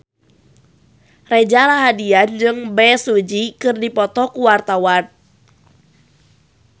Reza Rahardian jeung Bae Su Ji keur dipoto ku wartawan